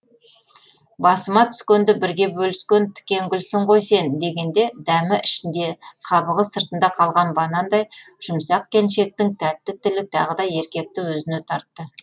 басыма түскенді бірге бөліскен тікенгүлсің ғой сен дегенде дәмі ішінде қабығы сыртында қалған банандай жұмсақ келіншектің тәтті тілі тағы да еркекті өзіне тартты